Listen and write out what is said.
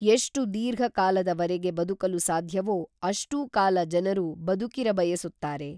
ಎಷ್ಟು ದೀರ್ಘಕಾಲದವರೆಗೆ ಬದುಕಲು ಸಾಧ್ಯವೋ ಅಷ್ಟೂ ಕಾಲ ಜನರು ಬದುಕಿರಬಯಸುತ್ತಾರೆ.